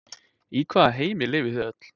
Í hvaða heimi lifið þið öll?